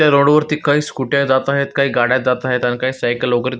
त्या रोड वरती काही स्कुट्या जात आहेत काय गाड्या जात आहेत अन काही सायकल --